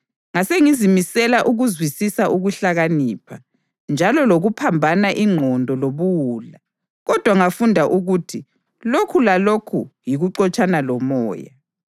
Ngasengizimisela ukuzwisisa ukuhlakanipha, njalo lokuphambana ingqondo lobuwula, kodwa ngafunda ukuthi lokhu lakho kuyikuxotshana lomoya.